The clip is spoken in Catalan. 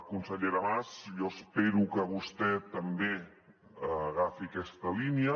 consellera mas jo espero que vostè també agafi aquesta línia